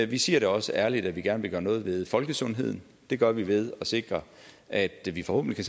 vi siger også ærligt at vi gerne vil gøre noget ved folkesundheden det gør vi ved at sikre at vi forhåbentlig